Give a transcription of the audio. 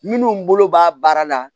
Minnu bolo b'a baara la